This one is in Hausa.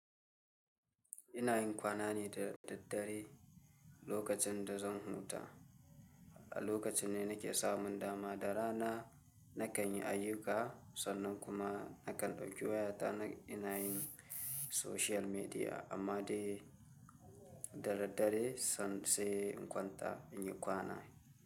Ina yin kwana ne da daddare lokacin da zan huta, a lokacin ne nake samun dama da rana na kan yi ayuka sannan kuma na kan ɗauki wayata na ina yin social media amma dai da daddare san se in kwanta in yi kwana.